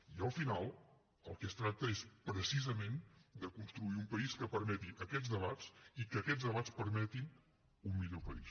i al final del que es tracta és precisament de construir un país que permeti aquests debats i que aquests debats permetin un millor país